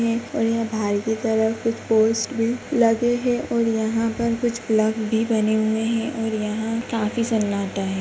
और यह बाहर की तरफ कुछ पोस्ट भी लगे है और यहाँ पर कुछ प्लग भी बने हुए है और यहाँ काफी सन्नाटा है।